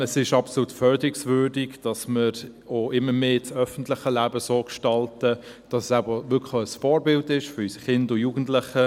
Es ist absolut förderungswürdig, dass wir auch immer mehr das öffentliche Leben so gestalten, dass es auch wirklich ein Vorbild ist für unsere Kinder und Jugendlichen.